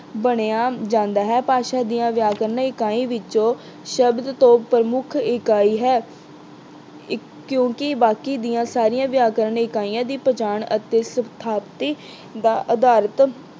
ਬਣਿਆ ਜਾਂਦਾ ਹੈ। ਭਾਸ਼ਾ ਦੀ ਵਿਆਕਰਨ ਇਕਾਈ ਵਿੱਚੋਂ ਸ਼ਬਦ ਤੋਂ ਪ੍ਰਮੁੱਖ ਇਕਾਈ ਹੈ। ਇੱਕ ਅਹ ਕਿਉਂਕਿ ਬਾਕੀ ਦੀਆਂ ਸਾਰੀਆਂ ਵਿਆਕਰਨ ਇਕਾਈਆਂ ਦੀ ਪਛਾਣ ਅਤੇ ਸਥਾਪਤੀ ਦਾ ਅਧਾਰਤ